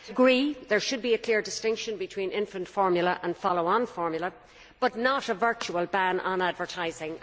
I agree there should be a clear distinction between infant formula and follow on formula, but not a virtual ban on advertising.